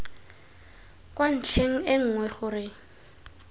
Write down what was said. kwa ntlheng e nngwe gore